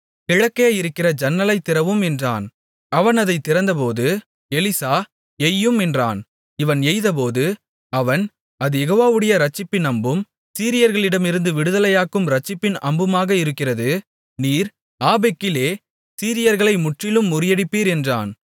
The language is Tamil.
கிழக்கே இருக்கிற ஜன்னலைத் திறவும் என்றான் அவன் அதைத் திறந்தபோது எலிசா எய்யும் என்றான் இவன் எய்தபோது அவன் அது யெகோவாவுடைய ரட்சிப்பின் அம்பும் சீரியர்களிடமிருந்து விடுதலையாக்கும் ரட்சிப்பின் அம்புமாக இருக்கிறது நீர் ஆப்பெக்கிலே சீரியர்களை முற்றிலும் முறியடிப்பீர் என்றான்